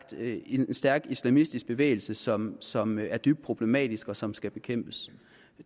en stærk islamistisk bevægelse som som er dybt problematisk og som skal bekæmpes